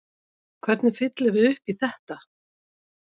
Hvernig fyllum við upp í þetta?